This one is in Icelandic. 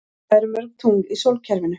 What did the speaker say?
Hvað eru mörg tungl í sólkerfinu?